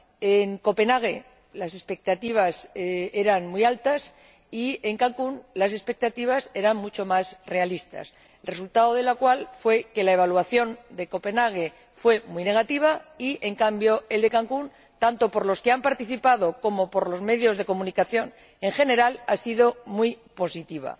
En Copenhague las expectativas eran muy altas y en Cancún las expectativas eran mucho más realistas, resultado de lo cual fue que la evaluación de Copenhague fue muy negativa y, en cambio, la de Cancún, tanto por los que han participado como por los medios de comunicación, en general, ha sido muy positiva.